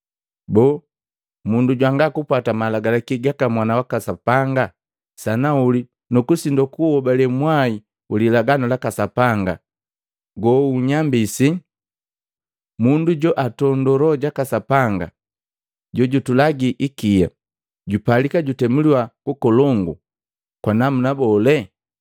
Boo, mundu jwanga kupwata malagalaki gaka Mwana waka Sapanga sanauli nu kusindwa kuuhobale mwai wi lilaganu laka Sapanga go guunyambisi, mundu joantondo Loho jaka Sapanga jojutulangi ikia, jupalika kutemuliwa kukolongu kwa namuna bole?